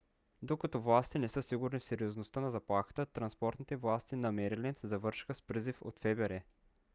докато властите не са сигурни в сериозността на заплахата транспортните власти на мериленд завършиха с призив от фбр